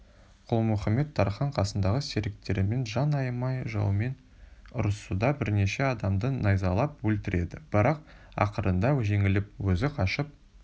күлмұхамед-тархан қасындағы серіктерімен жан аямай жауымен ұрысады бірнеше адамды найзалап өлтіреді бірақ ақырында жеңіліп өзі қашып